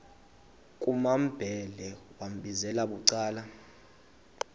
kumambhele wambizela bucala